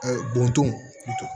bɔn ton